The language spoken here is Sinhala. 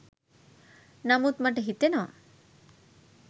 නමුත් මට හිතෙනවා